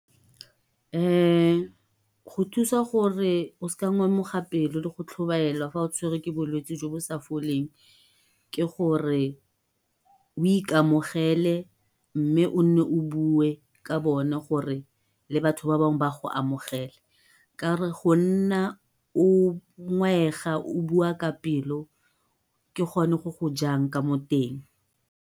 go thusa gore o sa ngamoga pelo le go tlhobaela ga o tshwerwe ke bolwetsi jo bo sa foleng ke gore o ikamogele mme o nne o bue ka bone gore le batho ba bangwe ba go amogele. go nna o ngwaega o bua ka pelo ke gone go go jang ka moteng.